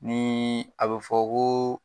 Nii a bɛ fɔ ko